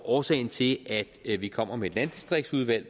årsagen til at vi vi kommer med et landdistriktsudvalg